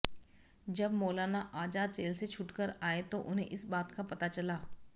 जब मौलाना आजाद जेल से छूटकर आए तो उन्हें इस बात का पता चला